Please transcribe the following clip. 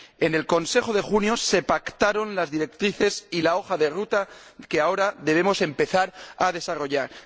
En el Consejo de junio se pactaron las directrices y la hoja de ruta que ahora debemos empezar a desarrollar.